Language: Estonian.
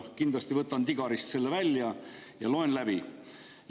Kindlasti võtan Digarist selle välja ja loen läbi.